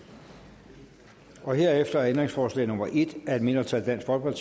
herefter er ændringsforslag nummer en af et mindretal tiltrådt af